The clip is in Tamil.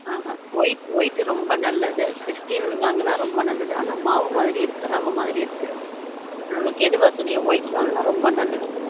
ஆன் ஹன் white white ரொம்ப நல்லது stal வாங்குனா ரொம்ப நல்லது ஆனா மாவு மாதிரி இருக்கு ரவ மாதிரி இருக்கு உனக்கு எது வசதியோ white வாங்குனா ரொம்ப நல்லது